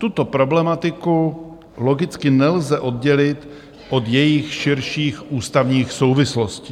Tuto problematiku logicky nelze oddělit od jejích širších ústavních souvislostí.